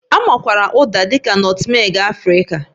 A makwaara Uda dị ka nọtmeg Afrịka